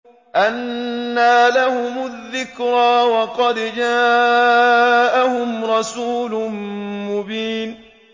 أَنَّىٰ لَهُمُ الذِّكْرَىٰ وَقَدْ جَاءَهُمْ رَسُولٌ مُّبِينٌ